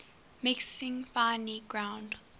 mixing finely ground